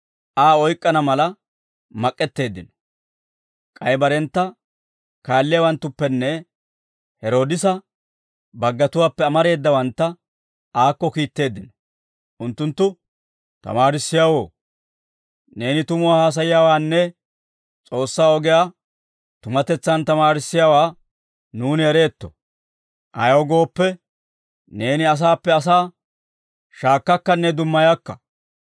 K'ay barentta kaalliyaawanttuppenne Heroodisa baggatuwaappe amareedawantta aakko kiitteeddino. Unttunttu, «Tamaarissiyaawoo, neeni tumuwaa haasayiyaawaanne S'oossaa ogiyaa tumatetsaan tamaarissiyaawaa nuuni ereetto; ayaw gooppe, neeni asaappe asaa shaakkakkanne dummayakka.